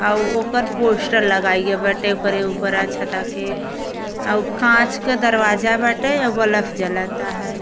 अउ ओकर पोस्टर लगाई बाटे। ओकर उपरा छता के अउ काच के दरवाजा बाटे। बल्फ जलता हय।